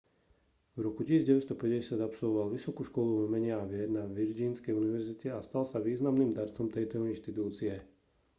v roku 1950 absolvoval vysokú školu umenia a vied na virgínskej univerzite a stal sa významným darcom tejto inštitúcie